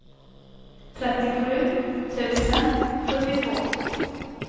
trettiosju tusen sjuttiotvå